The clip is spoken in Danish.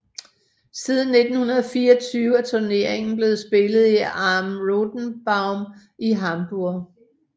Siden 1924 er turneringen blevet spillet i Am Rothenbaum i Hamborg